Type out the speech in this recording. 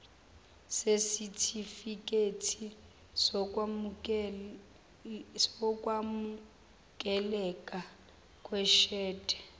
sesitifikedi sokwamukeleka kweshede